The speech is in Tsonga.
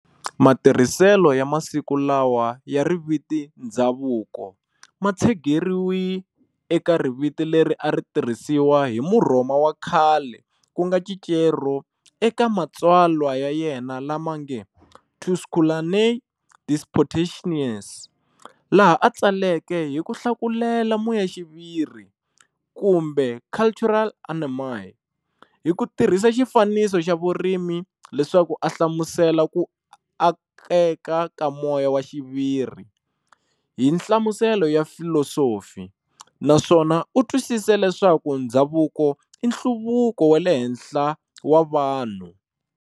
Matirhiselo ya masiku lawa ya riviti"ndzhavuko" matshegeriwe eka riviti leri ari tirhisiwa hi Murhoma wa Khale kunga Cicero eka matsalwa ya yena lamange"Tusculanae Disputationes", laha atsaleke hi ku hlakulela muyaxiviri kumbe "cultura animi", hi kutirhisa xifananisi xa Vurimi leswaku a hlamusela ku akeka ka moyaxiviri hi nhlamusela ya filosofi, naswona u twisese leswaku ndhzavuko inhluvuko wa le henhla wa vanhu.